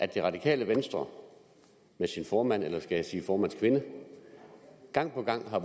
det radikale venstre med sin formand eller skal jeg sige formandskvinde gang på gang har